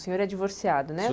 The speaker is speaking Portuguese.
O senhor é divorciado, né?